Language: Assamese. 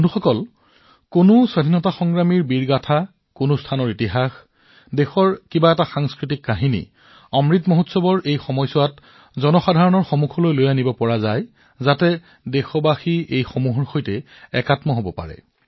বন্ধুসকল এজন স্বাধীনতা সংগ্ৰামীৰ সংগ্ৰাম কাহিনী এটা স্থানৰ ইতিহাস দেশৰ সাংস্কৃতিক কাহিনী অমৃত উৎসৱৰ সময়ছোৱাত আপোনালোকে ইয়াক পোহৰলৈ আনিব পাৰে দেশবাসীক সংযোজিত কৰাৰ এক মাধ্যম হব পাৰে